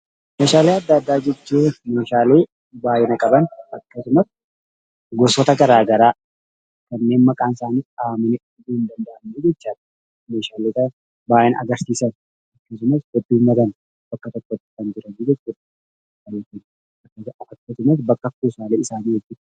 Meeshaalee adda addaa jechuun meeshaalee baay'ina qaban, akkasumas gosoota gara garaa kanneen maqaan isaanii dhahamee fixuun hin danda'amne jechuu dha. Meeshaalee kan baay'ina agarsiisan akkasumas bakka tokko kan jiran jechuu dha.